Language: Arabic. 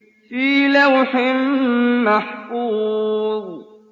فِي لَوْحٍ مَّحْفُوظٍ